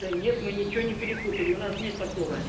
да нет мы ничего не перепутали у нас нет такого